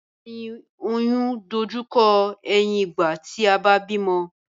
Ìtọ́jú ẹ̀yìn oyún dojú kọ ẹ̀yìn ìgbà tí a bá bímọ